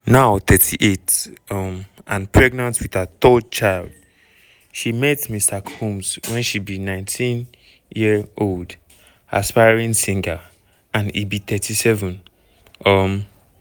now 38 um and pregnant wit her third child she meet mr combs wen she be 19-year-old aspiring singer and e be 37. um